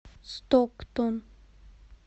стоктон